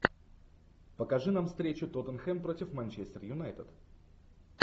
покажи нам встречу тоттенхэм против манчестер юнайтед